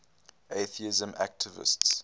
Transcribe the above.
atheism activists